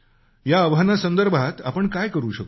या आव्हानासंदर्भात आपण काय करू शकतो